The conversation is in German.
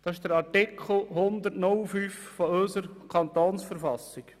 » Das beinhaltet Artikel 105 unserer Kantonsverfassung.